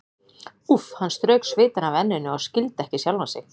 Úff, hann strauk svitann af enninu og skildi ekki sjálfan sig.